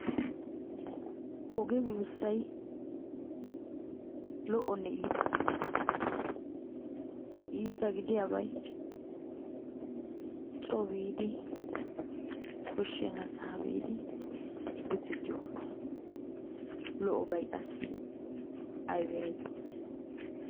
Oge buussay lo'onne iita. Iita gidiyabay coo biidi, koshshennasaa biidi bidettiyogaa. Lo'obay qassi aybee? aybee?